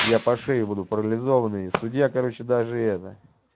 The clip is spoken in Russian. я по шею буду парализованный и судья короче даже это